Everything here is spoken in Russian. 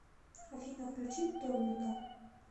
афина включи томмика